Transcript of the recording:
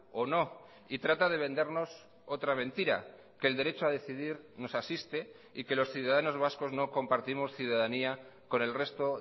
o no y trata de vendernos otra mentira que el derecho a decidir nos asiste y que los ciudadanos vascos no compartimos ciudadanía con el resto